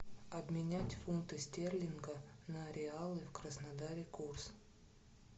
обменять фунты стерлинга на реалы в краснодаре курс